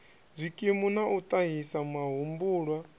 zwikimu na u ṱahisa mahumbulwa